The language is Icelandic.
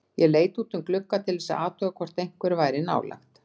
Ég leit út um glugga til þess að athuga hvort einhver væri nálægt.